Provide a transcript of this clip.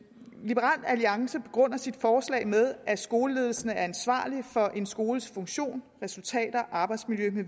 liberal alliance begrunder sit forslag med at skoleledelsen er ansvarlig for en skoles funktion resultater arbejdsmiljø mv